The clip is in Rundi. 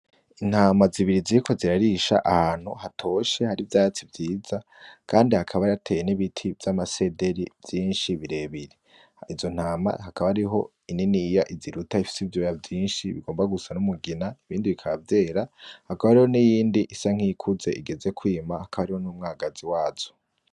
Intama zibiri ziriko zirarisha ahantu hatoshe, hari ivyatsi vyiza. Kandi hakaba hateye n'ibiti vy'amasederi vyinshi birebire. Izo ntama hakaba hariho ininiya iziruta ifise ivyoya vyinshi, bigomba gusa n'umugina, ibindi bikaba vyera. Hakaba hariho n'iyindi isa nk'iyikuze igeze kwima. Hakaba hariho n'umwagazi wazo.